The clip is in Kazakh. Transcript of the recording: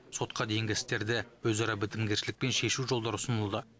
сотқа дейінгі істерді өзара бітімгершілікпен шешу жолдары ұсынылды